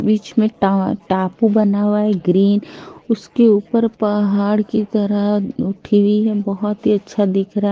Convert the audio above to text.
बीच में एक ट टापू बना हुआ है एक ग्रीन उसके ऊपर पहाड़ की तरह उठी हुई है बहुत ही अच्छा दिख रहा है--